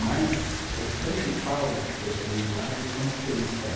Mas os principais dessas linguagens são os três só.